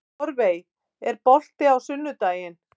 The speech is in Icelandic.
Torfey, er bolti á sunnudaginn?